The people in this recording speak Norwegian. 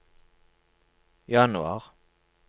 januar